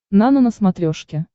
нано на смотрешке